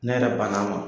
Ne yɛrɛ banna wa